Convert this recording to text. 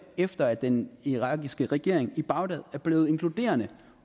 efter at den irakiske regering i bagdad er blevet inkluderende